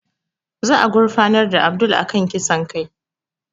Za a gurfanar da Abdul a kan kisan kai